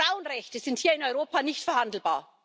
Frauenrechte sind hier in Europa nicht verhandelbar!